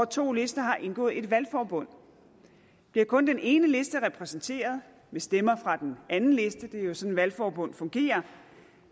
to lister har indgået et valgforbund bliver kun den ene liste repræsenteret med stemmer fra den anden liste det er jo sådan valgforbund fungerer